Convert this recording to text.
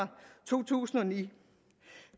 to tusind og ni